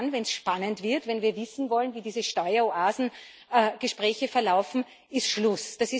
Also ab dann, wenn es spannend wird, wenn wir wissen wollen, wie diese Steueroasen Gespräche verlaufen, ist Schluss.